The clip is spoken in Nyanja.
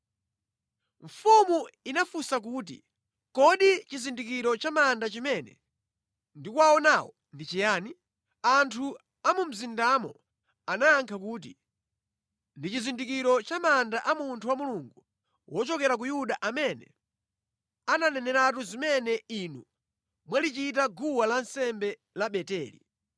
Mfumu inafunsa kuti, “Kodi chizindikiro cha manda chimene ndikuwaonawo ndi chayani?” Anthu a mu mzindamo anayankha kuti, “Ndi chizindikiro cha manda a munthu wa Mulungu wochokera ku Yuda amene ananeneratu zimene inu mwalichita guwa lansembe la Beteli.”